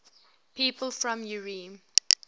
people from eure